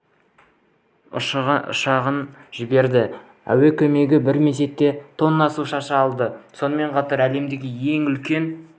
ұшағын жіберді әуе кемесі бір мезетте тонна су шаша алады сонымен қатар әлемдегі ең үлкен